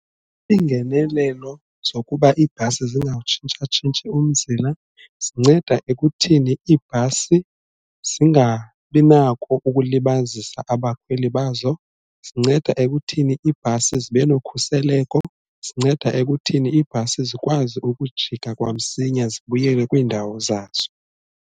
Iingenelelo zokuba iibhasi zingawutshintshatshintshi umzila zinceda ekutheni iibhasi zingabi nako ukulibazisa abakhweli bazo, zinceda ekutheni iibhasi zibe nokhuseleko zinceda ekutheni ibhasi zikwazi ukujika kwamsinya zibuyele kwiindawo zazo.